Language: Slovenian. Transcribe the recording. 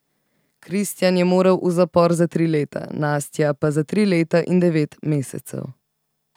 Kristjan je moral v zapor za tri leta, Nastja pa za tri leta in devet mesecev.